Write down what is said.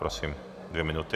Prosím, dvě minuty.